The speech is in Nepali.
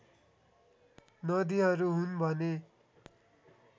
नदीहरू हुन् भने